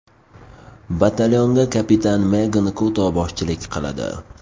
Batalyonga kapitan Megan Kuto boshchilik qiladi.